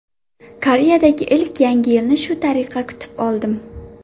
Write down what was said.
Koreyadagi ilk Yangi yilni shu tariqa kutib oldim.